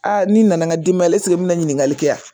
ni nana n'i denba ye n bɛna ɲininkali kɛ yan